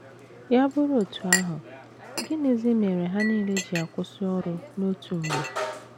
Ya bụrụ otú ahụ, gịnịzi mere ha nile ji akwụsị ọrụ n’otu mgbe?